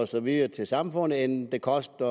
og så videre til samfundet end det koster